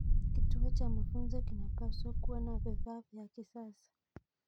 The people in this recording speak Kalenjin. Kituo cha mafunzo kinapaswa kuwa na vifaa vya kisasa.